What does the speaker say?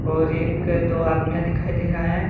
और एक दो आदमियां दिखाई दे रहा है।